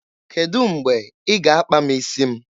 Kedụ mgbe ị ga-akpa m isi m?